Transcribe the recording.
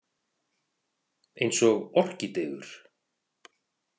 Eins og orkídeur